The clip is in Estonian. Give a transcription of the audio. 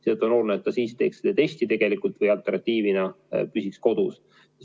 Seetõttu on oluline, et ta teeks selle testi või alternatiivina püsiks kodus.